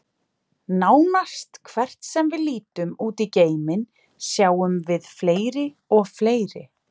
Nánast hvert sem við lítum út í geiminn, sjáum við fleiri og fleiri.